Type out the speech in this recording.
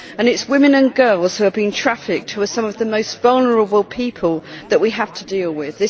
It is women and girls who are being trafficked who are some of the most vulnerable people that we have to deal with.